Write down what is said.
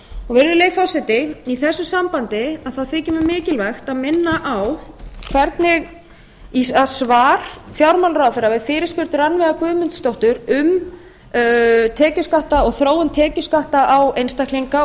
virðulegi forseti í þessu sambandi þykir mér mikilvægt að minna á svar fjármálaráðherra við fyrirspurn rannveigar guðmundsdóttur um tekjuskatta og þróun tekjuskatta á einstaklinga og